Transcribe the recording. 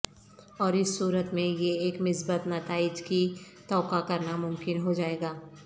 اور اس صورت میں یہ ایک مثبت نتائج کی توقع کرنا ممکن ہو جائے گا